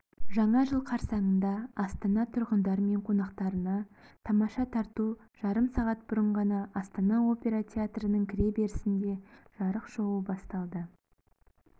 жаңа жыл қарсаңында астана тұрғындары мен қонақтарына тамаша тарту жарым сағат бұрын ғана астана опера театрының кіреберісінде жарық шоуы басталды